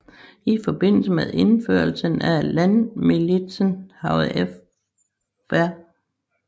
I forbindelse med indførelsen af landmilitsen havde Fr